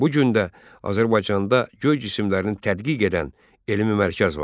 Bu gün də Azərbaycanda göy cisimlərini tədqiq edən elmi mərkəz vardı.